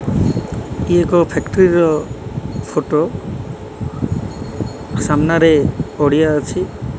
ଇଏ ଏକ ଫ୍ୟାକ୍ଟ୍ରି ର ଫୋଟୋ ସାମ୍ନାରେ ପଡ଼ିଆ ଅଛି।